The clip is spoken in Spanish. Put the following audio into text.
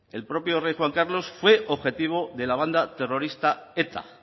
el propio rey juan carlos fue objetivo de la banda terrorista eta